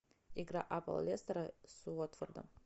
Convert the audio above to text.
игра апл лестера с уотфордом